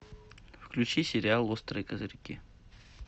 включи сериал острые козырьки